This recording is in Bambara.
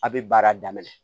A' be baara daminɛ